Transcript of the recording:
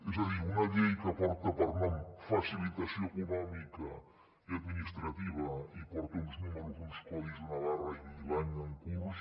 és a dir una llei que porta per nom facilitació econòmica i administrativa i porta uns números uns codis una barra i l’any en curs